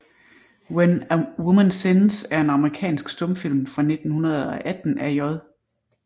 When a Woman Sins er en amerikansk stumfilm fra 1918 af J